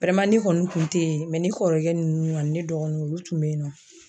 kɔni kun tɛ yen ne kɔrɔkɛ nunnu ani ne dɔgɔninw olu tun be yen nɔ.